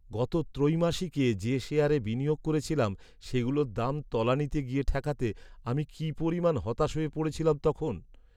গত ত্রৈমাসিকে যে শেয়ারে বিনিয়োগ করেছিলাম, সেগুলোর দাম তলানিতে গিয়ে ঠেকাতে আমি কী পরিমাণ হতাশ হয়ে পড়েছিলাম তখন।